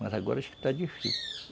Mas agora acho que está difícil (cântico de passarinho)